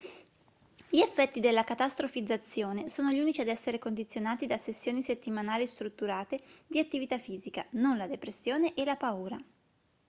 gli effetti della catastrofizzazione sono gli unici ad essere condizionati da sessioni settimanali strutturate di attività fisica non la depressione e la paura